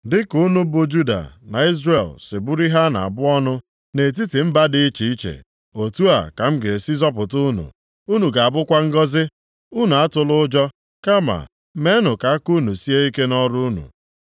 Dịka unu bụ Juda na Izrel si bụrụ ihe a na-abụ ọnụ nʼetiti mba dị iche iche, otu a ka m ga-esi zọpụta unu, unu ga-abụkwa ngọzị. Unu atụla ụjọ, kama meenụ ka aka unu sie ike nʼọrụ unu.”